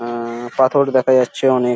আহ পাথর দেখা যাচ্ছে অনেক।